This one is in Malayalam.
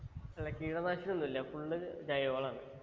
അല്ല കീടനാശിനി ഒന്നു ഇല്ല full ജയ്‌വ വളമാണ്